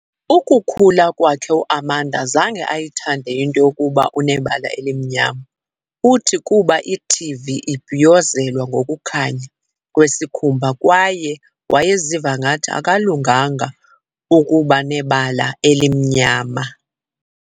Ukukhula kwakhe uAmanda zange ayithande into yokuba unebala elimnyama, uthi kuba iTV ibhiyozelwa ngokukhanya kwesikhumba kwaye wayeziva ngathi akalunganga kuba unebala elimnyama.